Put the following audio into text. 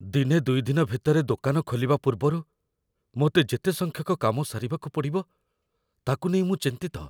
ଦିନେ ଦୁଇଦିନ ଭିତରେ ଦୋକାନ ଖୋଲିବା ପୂର୍ବରୁ ମୋତେ ଯେତେ ସଂଖ୍ୟକ କାମ ସାରିବାକୁ ପଡ଼ିବ, ତାକୁ ନେଇ ମୁଁ ଚିନ୍ତିତ।